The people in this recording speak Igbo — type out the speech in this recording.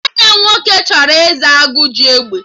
Nwanne m nwoke chọrọ ịza 'Agụ ji egbe'